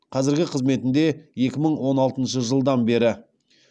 қазіргі қызметінде екі мың он алтыншы жылдан бері